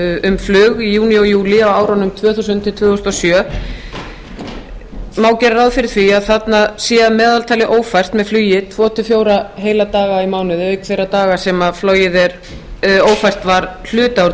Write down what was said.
um flug í júní og júlí á árunum tvö þúsund til tvö þúsund og sjö má gera ráð fyrir því að þarna sé að meðaltali ófært með flugi tvö til fjóra heila daga í mánuði auk þeirra daga sem flogið er ófært var hluta úr